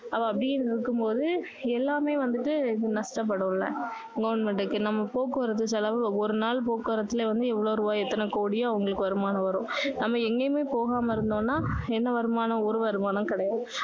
அப்போ அப்படின்னு இருக்கும் போது எல்லாமே வந்துட்டு நஷ்டப்படும்ல goverment க்கு நம்ம போக்குவரத்து செலவு ஒரு நாள் போக்குவரத்துல வந்து எவ்வளவு ரூபாய் எத்தனைக் கோடியோ அவங்களுக்கு வருமானம் வரும் நம்ம எங்கேயுமே போகாம இருந்தோம்னா என்ன வருமானம் ஒரு வருமானமும் கிடையாது